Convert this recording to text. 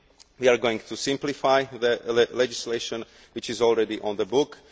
We are going to simplify legislation which is already on the books.